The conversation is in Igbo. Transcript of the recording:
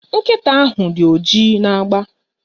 Nkịta ahụ dị oji na agba